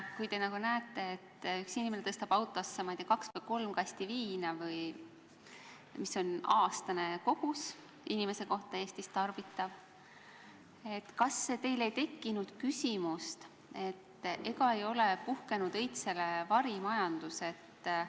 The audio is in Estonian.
Kui te nägite, et üks inimene tõstab autosse, ma ei tea, kaks või kolm kasti viina, mis on elaniku kohta aastane kogus Eestis, kas teil ei tekkinud küsimust, ega ole puhkenud õitsele varimajandus?